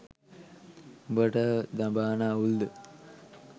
උඹට දඹාන අවුල්ද?